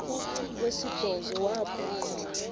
wesibhozo wabhu bha